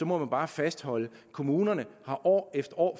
må man bare fastholde at kommunerne år efter år